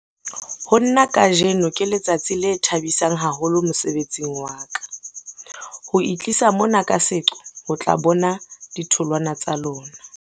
"Ho nna, kajeno ke letsatsi le thabisang haholo mosebetsing wa ka, ho itlisa mona ka seqo ho tla bona ditholwana tsa lona."